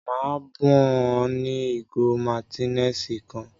Maa bun o ni igo Martineliss kan.